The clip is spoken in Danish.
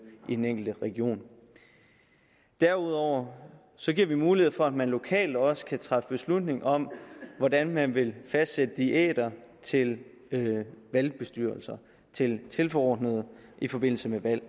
i den enkelte region derudover giver vi mulighed for at man lokalt også kan træffe beslutning om hvordan man vil fastsætte diæter til valgbestyrelser og tilforordnede i forbindelse med valg